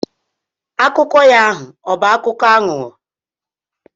Akụkọ ya ahụ ọbụ akụkọ aghụghọ?